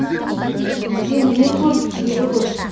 бізде не көп тері көп